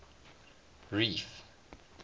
reef